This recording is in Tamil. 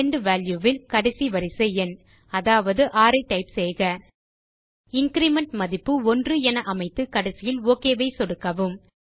எண்ட் வால்யூ ல் கடைசி வரிசை எண் அதாவது 6 ஐ டைப் செய்யலாம் இன்கிரிமெண்ட் மதிப்பு 1 என அமைத்து கடைசியில் ஒக் ஐ சொடுக்கவும்